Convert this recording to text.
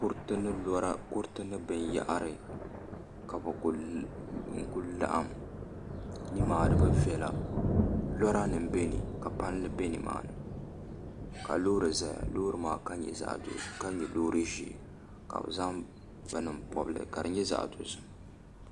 Kuriti ni binyahari ka bi ku laɣam nimaani bi viɛla lora nim bɛ ni ka palli bɛ nimaani ka loori ʒɛya ka nyɛ loori ʒiɛ ka bi zaŋ bini n pobili ka di nyɛ zaŋ dozim